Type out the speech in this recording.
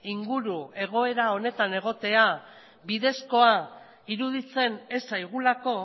inguru egoera honetan egotea bidezkoa iruditzen ez zaigulako